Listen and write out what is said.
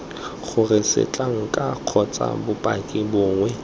gore setlankana kgotsa bopaki bongwe